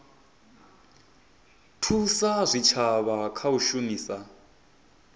thusa zwitshavha kha u shumisa